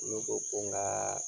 Ne ko ko n ka